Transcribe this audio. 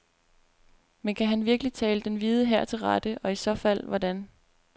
Men kan han virkelig tale den hvide hær til rette, og i så fald hvordan.